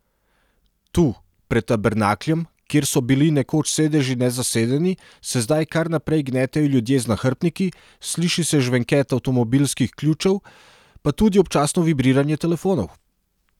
Tu, pred tabernakljem, kjer so bili nekoč sedeži nezasedeni, se zdaj kar naprej gnetejo ljudje z nahrbtniki, sliši se žvenket avtomobilskih ključev, pa tudi občasno vibriranje telefonov.